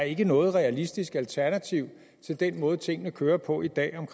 ikke er noget realistisk alternativ til den måde tingene kører på i dag